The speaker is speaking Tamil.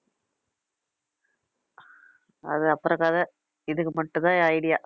அது அப்புறம் கதை இதுக்கு மட்டும்தான் என் idea